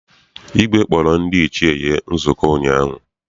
Igwe kpọrọ ndị Ichie ya nzukọ ụnyaahụ.